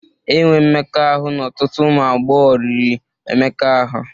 Enwe mmekọahụ na ọtụtụ ụmụ agbọghọ riri Emeka ahu.